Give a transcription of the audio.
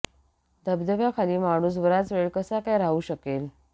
धबधब्या खाली माणूस बराच वेळ कसा काय राहू शकेल